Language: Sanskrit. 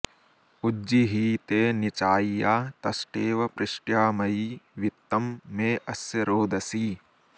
उज्जि॑हीते नि॒चाय्या॒ तष्टे॑व पृष्ट्याम॒यी वि॒त्तं मे॑ अ॒स्य रो॑दसी